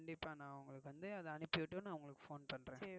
கண்டிப்பா நான் உங்களுக்கு அத அனுப்பி விட்டு நான் உங்களுக்கு phone பன்ரேன்